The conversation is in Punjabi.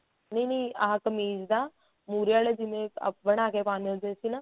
ਨਹੀਂ ਨਹੀਂ ਆਹ ਕਮੀਜ ਦਾ ਮੁਹਰੇ ਆਲੇ ਜਿਵੇਂ ਆ ਬਣਾ ਕੇ ਪਾਉਦੇ ਹੁੰਦੇ ਸੀ ਨਾ